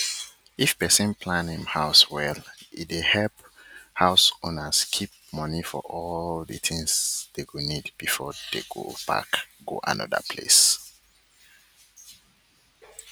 if person plan him house welle dey help house owners keep money for all the things dey go needbefore dey go pack go anoda place